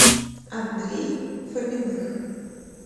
андрей фоминых